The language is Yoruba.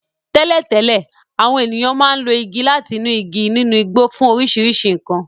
Tẹ́lẹ̀tẹ́lẹ̀, àwọn ènìyàn máa ń lo igi láti inú igi nínú igbó fún oríṣiríṣi nkan.